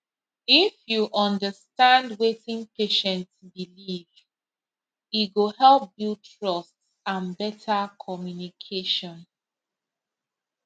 if you understand wetin patient believe e go help build trust and better communication